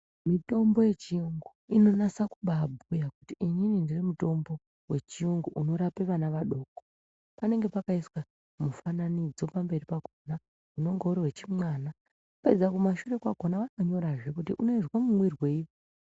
Mitombo yechiyungu inonasa kubabhuya kuti inini ndiri mutombo wechiyungu unorape vana vadoko panenge pakaiswa mufananidzo pamberi pakona unenge uri wechimwana vapedza kumashure kwakona vanonyorazve kuti unoizwa mumwirwei.